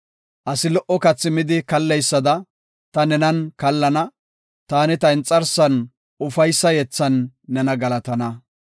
Asi lo77o kathi midi kalleysada ta nenan kallana. Taani ta inxarsan ufaysa yethan nena galatana.